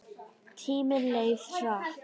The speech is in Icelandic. Tíminn leið hratt.